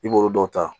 I b'olu dɔw ta